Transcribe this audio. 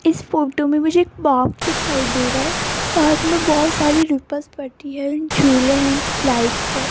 इस फोटो में मुझे एक पार्क दिखाई दे रा है पार्क में बहोत सारी रिप्लस पट्टी है झूले है स्लाइड्स है।